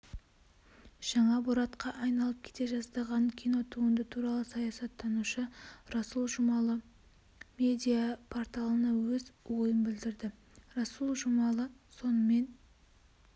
жаңа боратқа айналып кете жаздаған кинотуынды туралы саясаттанушы расұл жумалы медиа-порталына өз ойынбілдірді расул жұмалы сонымен